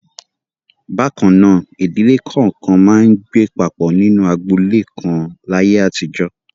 Bákan náà, ìdílé kọ̀ọ̀kan máa ń gbé papọ̀ nínú agboolé kan láyé àtijọ́.